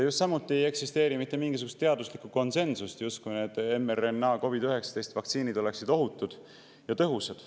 Just samuti ei eksisteeri mitte mingisugust teaduslikku konsensust selles, et justkui need COVID-19 mRNA-vaktsiinid oleksid ohutud ja tõhusad.